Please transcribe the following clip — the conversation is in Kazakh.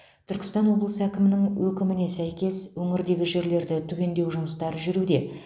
түркістан облысы әкімінің өкіміне сәйкес өңірдегі жерлерді түгендеу жұмыстары жүруде